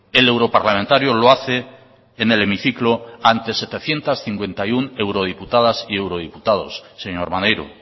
el europarlamentario lo hace en el hemiciclo ante setecientos cincuenta y uno eurodiputadas y eurodiputados señor maneiro